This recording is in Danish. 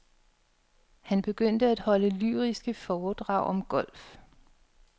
Han begyndte at holde lyriske foredrag om golf.